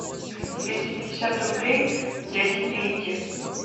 двести пятьдесят рублей дяде пете